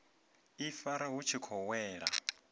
ifara vhu tshi khou wela